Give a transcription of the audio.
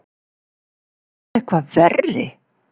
Ertu eitthvað verri!